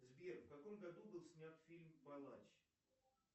сбер в каком году был снят фильм палач